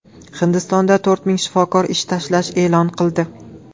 Hindistonda to‘rt ming shifokor ish tashlash e’lon qildi.